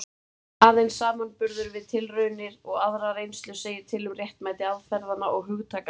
Aðeins samanburður við tilraunir og aðra reynslu segir til um réttmæti aðferðanna og hugtakanna.